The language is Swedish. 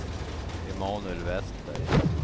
Emanuel Vestberg